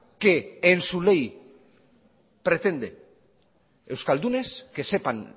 que en su ley pretende euskaldunes que sepan